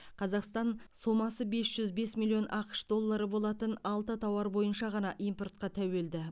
қазақстан сомасы бес жүз бес миллион ақш доллары болатын алты тауар бойынша ғана импортқа тәуелді